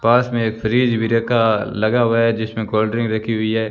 पास मे एक फ्रिज भी रखा लगा हुआ है जिसमें कोल्ड ड्रिंक रखी हुई है।